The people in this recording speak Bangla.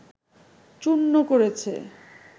চূর্ণ করেছে